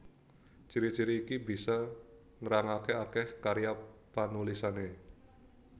Ciri ciri iki bisa nrangaké akèh karya panulisané